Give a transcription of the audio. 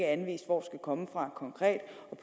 anvist hvor skal komme fra konkret